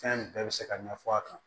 Fɛn bɛɛ bɛ se ka ɲɛfɔ a kan